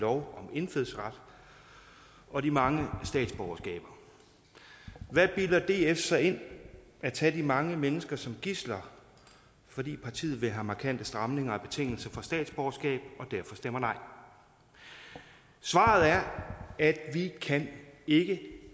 om indfødsret og de mange statsborgerskaber hvad bilder df sig ind at tage de mange mennesker som gidsler fordi partiet vil have markante stramninger af betingelserne for statsborgerskab og derfor stemmer nej svaret er at vi ikke